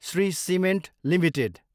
Shri cement Ltd